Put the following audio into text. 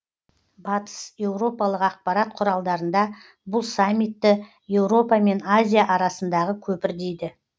батыс еуропалық ақпарат құралдарында бұл саммитті еуропа мен азия арасындағы көпір дейді